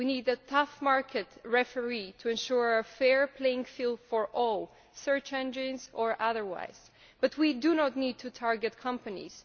We need a tough market referee to ensure a fair playing field for all search engines or otherwise but we do not need to target companies.